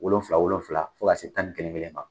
Wolonwula wolonwula fo ka taa se mɔgɔ tan ni kelen ma.